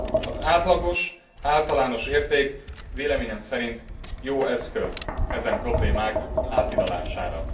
Az átlagos általános érték véleményem szerint jó eszköz ezen problémák áthidalására.